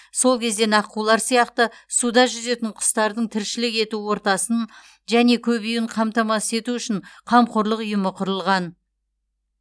сол кезден аққулар сияқты суда жүзетін құстардың тіршілік ету ортасын және көбеюін қамтамасыз ету үшін қамқорлық ұйымы құрылған